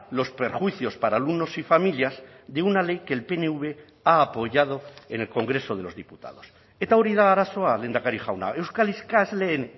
los perjuicios para alumnos y familias de una ley que el pnv ha apoyado en el congreso de los diputados eta hori da arazoa lehendakari jauna euskal ikasleen